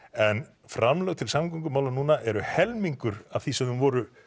en framlög til samgöngumála núna er helmingur af því sem þau voru